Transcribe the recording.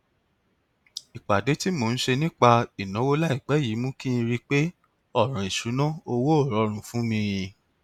ìpàdé tí mò ń ṣe nípa ìnáwó láìpẹ yìí mú kí n rí pé ọràn ìṣúnná owó ò rọrùn fún mi